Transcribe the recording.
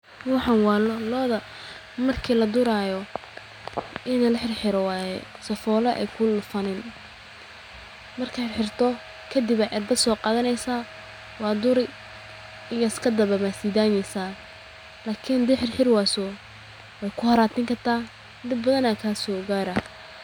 Waxaan waa loo, marki laduraayo in laxiro waaye, waa laxiraa, waa duri kadib waad sidaayni, hadii xiri wayso waay ku haraantini dib ayaa kasoo gaara.